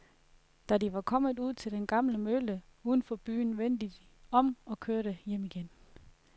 Da de var kommet ud til den gamle mølle uden for byen, vendte de om og kørte hjem igen.